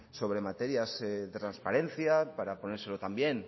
sobre materias de transparencia para ponérselo también